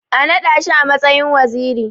A naɗa shi a matsayin waziri.